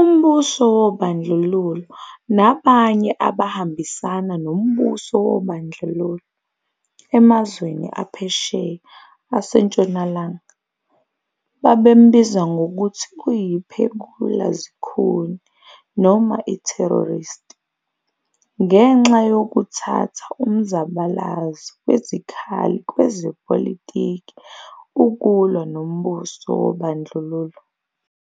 umbuso wobandlululo nabanye abahambisana nombuso wobandlululo emazweni aphesheya aseNtshonalanga, babembiza ngokuthi uyiphekula-zikhuni noma i-terrorist, ngenxa yokuthatha umzabalazo wezikhali kwezepolitiki ukulwa nombuso wobandlululo.